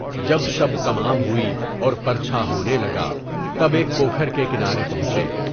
جب شب تمام ہوئی اور پُر چھا ہونے لگا، تب ایک پوکھر کے کنارے پہنچے۔